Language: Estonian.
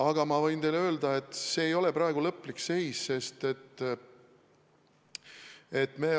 Aga ma võin teile öelda, et see ei ole praegu lõplik seis.